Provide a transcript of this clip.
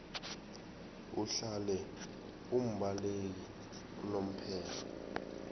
uhlale umbaleki unomphela